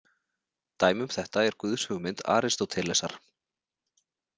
Dæmi um þetta er guðshugmynd Aristótelesar.